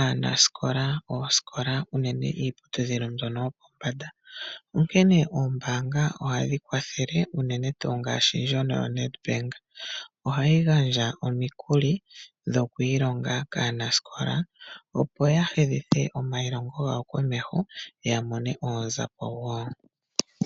aanasikola oosikola, unene iiputudhilo mbyono yopombanda. Onkene oombaanga ohadhi kwathele unene tuu ngaashi ndjono yoNEDBANK. Ohayi gandja omikuli dhoku ilonga kaanasikola, opo ya hedhithe omailongo gawo komeho ya mone oonzapo wo.